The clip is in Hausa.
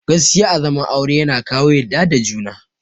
Gaskiya a zaman aure yana kawo yadda da juna